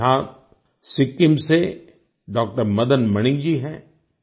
हमारे साथ सिक्किम से डॉक्टर मदन मणि जी हैं